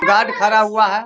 Guard खरा हुआ है।